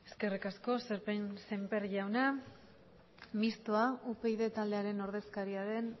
eskerrik asko sémper jauna mistoa upyd taldearen ordezkaria den